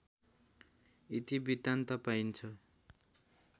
इतिवृत्तान्त पाइन्छ